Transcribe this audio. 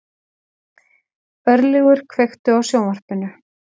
Örlygur, kveiktu á sjónvarpinu.